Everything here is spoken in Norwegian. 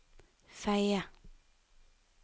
Fedje